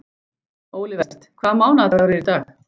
Olivert, hvaða mánaðardagur er í dag?